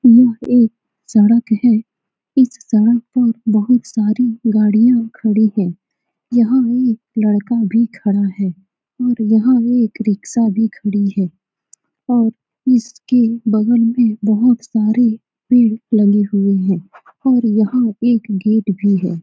यह एक सड़क है। इस सड़क पर बहुत सारी गाडियां खड़ी हैं। यहां एक लड़का भी खड़ा है और यहां एक रिक्शा भी खड़ी है और इसके बगल में बहुत सारे पेड़ लगे हुए है और यहां एक गेट भी है।